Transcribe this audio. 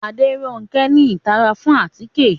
Aderonke ni itara fun atike